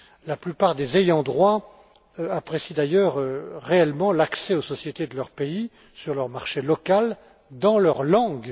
La plupart des ayants droit apprécient d'ailleurs réellement l'accès aux sociétés de leur pays sur leur marché local, dans leur langue.